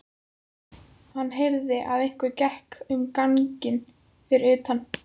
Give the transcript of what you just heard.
Hann heyrði að einhver gekk um ganginn fyrir utan.